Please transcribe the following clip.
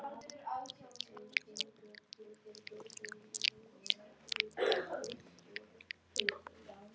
Fram heldur áfram með kærumálið